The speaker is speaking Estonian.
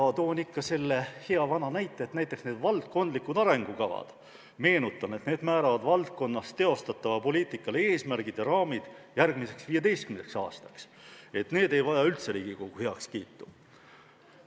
Ma toon ikka selle hea vana näite, et näiteks valdkondlikud arengukavad, mis määravad valdkonnas teostatava poliitika eesmärgid ja raamid järgmiseks 15 aastaks, ei vaja üldse Riigikogu heakskiitu.